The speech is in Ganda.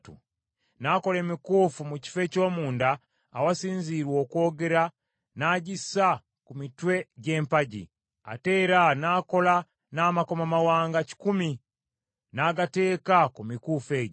N’akola emikuufu mu kifo eky’omunda awasinzirwa okwogera n’agissa ku mitwe gy’empagi, ate era n’akola n’amakomamawanga kikumi, n’agateeka ku mikuufu egyo.